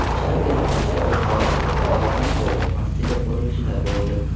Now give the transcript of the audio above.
Shavkat Mirziyoyev Xorazmdagi Oxund bobo masjidi qurilishida bo‘ldi.